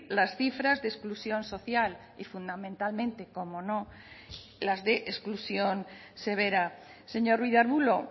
las cifras de exclusión social y fundamentalmente cómo no las de exclusión severa señor ruiz de arbulo